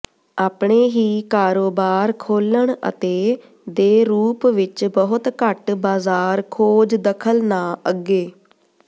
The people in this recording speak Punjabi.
ਆਪਣੇ ਹੀ ਕਾਰੋਬਾਰ ਖੋਲ੍ਹਣ ਅਤੇ ਦੇ ਰੂਪ ਵਿੱਚ ਬਹੁਤ ਘੱਟ ਬਾਜ਼ਾਰ ਖੋਜ ਦਖਲ ਨਾ ਅੱਗੇ